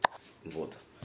вот